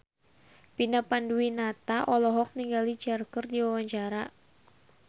Vina Panduwinata olohok ningali Cher keur diwawancara